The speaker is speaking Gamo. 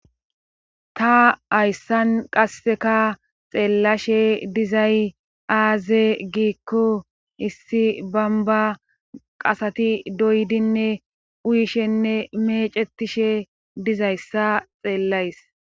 Ta hayssan qasseka xeellashe dizay aaze giikko issi bamba qasati doyidinne uyishenne mecettishe dizayssa xeellays.